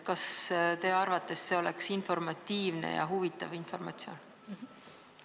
Kas teie arvates oleks see informatiivne ja see oleks huvitav informatsioon?